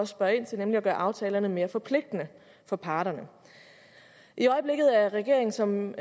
spørger ind til nemlig at gøre aftalerne mere forpligtende for parterne i øjeblikket er regeringen som